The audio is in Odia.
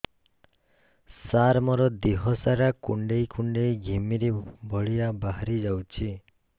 ସାର ମୋର ଦିହ ସାରା କୁଣ୍ଡେଇ କୁଣ୍ଡେଇ ଘିମିରି ଭଳିଆ ବାହାରି ଯାଉଛି